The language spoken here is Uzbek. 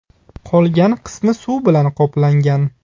Qolgan qismi suv bilan qoplangan.